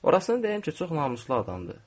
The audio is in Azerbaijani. Orasını deyim ki, çox namuslu adamdır.